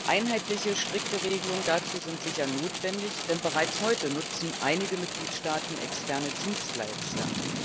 Einheitliche strikte Regelungen dazu sind sicher notwendig, denn bereits heute nutzen einige Mitgliedstaaten externe Dienstleister.